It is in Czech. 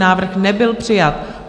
Návrh nebyl přijat.